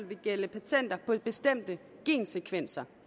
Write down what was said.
vil gælde patenter på bestemte gensekvenser